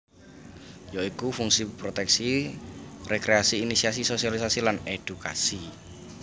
Ya iku fungsi proteksi rekreasi inisiasi sosialisasi lan edukasi